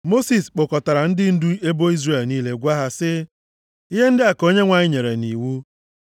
Mosis kpọkọtara ndị ndu ebo Izrel niile gwa ha sị: “Ihe ndị a ka Onyenwe anyị nyere nʼiwu: